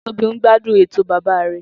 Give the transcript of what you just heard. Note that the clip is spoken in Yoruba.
Tobi n gbadun eto baba re.